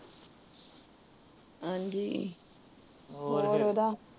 ਹਾਂਜੀ, ਹੋਰ ਉਹਦਾ।